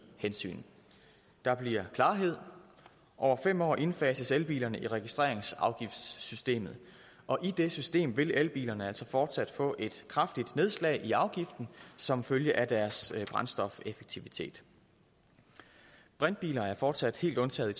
hensyn der bliver klarhed over fem år indfases elbilerne i registreringsafgiftssystemet og i det system vil elbilerne altså fortsat få et kraftigt nedslag i afgiften som følge af deres brændstofeffektivitet brintbiler er fortsat helt undtaget i